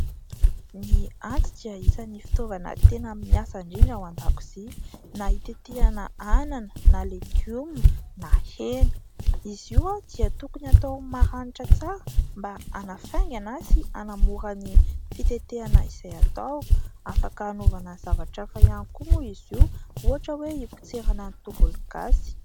Ny antsy dia isany fitaovana tena miasa indrindra an-dakozia ; na hitetehana anana na legioma na hena izy io, dia tokony atao maranitra tsara mba hanafaingana sy hanamora ny fitetehana izay atao. Afaka anaovana zavatra hafa ihany koa moa izy io, ohatra hoe hipotserana ny tongologasy.